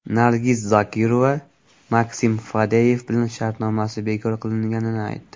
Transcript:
Nargiz Zokirova Maksim Fadeyev bilan shartnomasi bekor qilinganini aytdi.